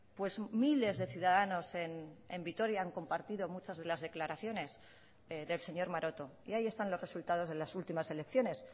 pues miles de ciudadanos en vitoria han compartido muchas de las declaraciones del señor maroto y ahí están los resultados de las últimas elecciones